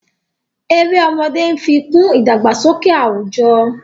Èrè ọmọdé nfi kún idagbasọkẹ awujo.